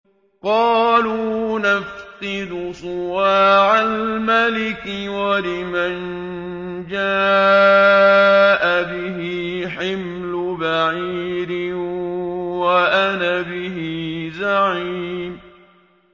قَالُوا نَفْقِدُ صُوَاعَ الْمَلِكِ وَلِمَن جَاءَ بِهِ حِمْلُ بَعِيرٍ وَأَنَا بِهِ زَعِيمٌ